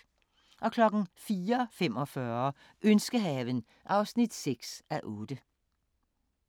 04:45: Ønskehaven (6:8)